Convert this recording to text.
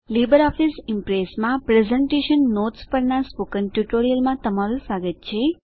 લીબરઓફીસમાં presentation notes પરના spoken ટ્યુટોરીયલમાં તમારું સ્વાગત છે